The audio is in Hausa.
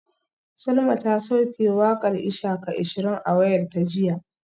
Salma ta sauke wakar ishaka ashirin a wayarta jiya